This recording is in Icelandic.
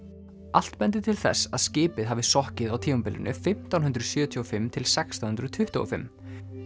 allt bendir til þess að skipið hafi sokkið á tímabilinu fimmtán hundruð sjötíu og fimm til sextán hundruð tuttugu og fimm